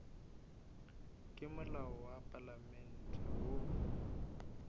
ke molao wa palamente wo